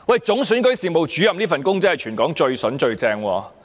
總選舉事務主任這職位真是全港最棒的"筍工"。